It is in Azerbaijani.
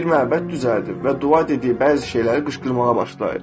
Bir məbəd düzəldib və dua dediyi bəzi şeyləri qışqırmağa başlayır.